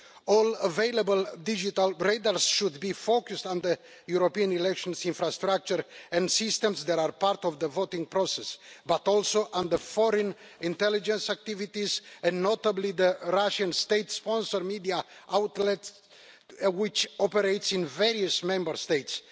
All available digital radars should be focused on the European election infrastructure and systems that are part of the voting process, but also on foreign intelligence activities, notably the Russian state sponsored media outlet which operates in various Member States.